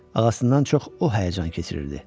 Ağasından çox o həyəcan keçirirdi.